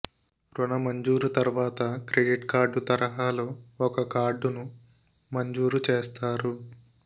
రుణ మంజూరు తర్వాత క్రెడిట్ కార్డు తరహాలో ఒక కార్డును మంజూరు చేస్తారు